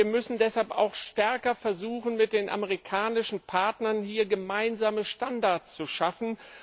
Wir müssen deshalb auch stärker versuchen, mit den amerikanischen Partnern hier gemeinsame Standards zu schaffen.